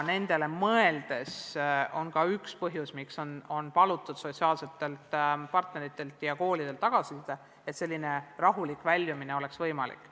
Neile mõeldes ongi palutud sotsiaalsetelt partneritelt ja koolidelt tagasisidet, et võimaldada sellist rahulikku eriolukorrast väljumist.